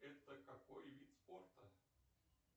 это какой вид спорта